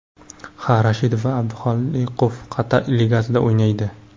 Ha, Rashidov va Abduxoliqov Qatar ligasida o‘ynaydi.